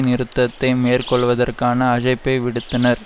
நிறுத்தத்தை மேற்கொள்வதற்கான அஜைப்பை விடுத்தனர்